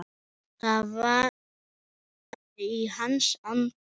Það væri í hans anda.